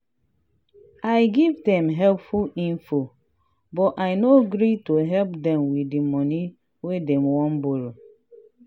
i give dem helpful info but i no agree to help dem with the money wey dem wan borrow.